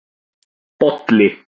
Bolli